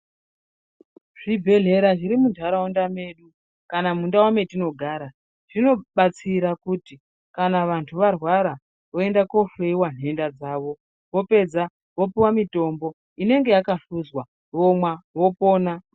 Zvibhedhlera zviri munthraunda medu kana mundau metinogara zvinobatsira kuti kana vanthu varwara voenda kohloyiwa nhenda dzavo vopedza vopuwa mitombo inenge yakahluzwa vomwa vopona.